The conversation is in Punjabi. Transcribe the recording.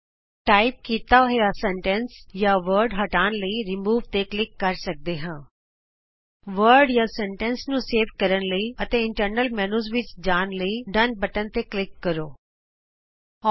ਅਸੀਂ ਟਾਈਪ ਕੀਤਾ ਹੋਇਆ ਸ਼ਬਦ ਜਾਂ ਵਾਕ ਹਟਾਉਣ ਲਈ ਰਿਮੂਵ ਤੇ ਕਲਿਕ ਕਰ ਸਕਦੇ ਹਾਂ ਸ਼ਬਦ ਜਾਂ ਵਾਕ ਨੂੰ ਸੇਵ ਕਰਨ ਲਈ ਅਤੇ ਅੰਦਰਲੇ ਮੈਨਯੂ ਵਿਚ ਵਾਪਸ ਜਾਣ ਲਈ ਆਉ ਡਨ ਬਟਨ ਤੇ ਕਲਿਕ ਕਰੀਏ